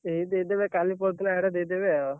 ଏଇ ଦେଇଦେବେ କାଲି ପରଦିନ ଆଡେ ଦେଇଦେବେ ଆଉ।